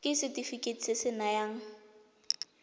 ke setefikeiti se se nayang